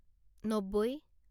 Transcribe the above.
নব্বৈ